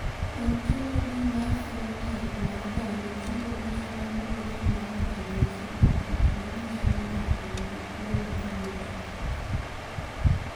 "Ontologi mar phenotaip mar dhano chiwo list ma luwogi mag ranyisi kod gik ma nyiso ni ng’ato nigi tuwo mar ng’ut ng’ato."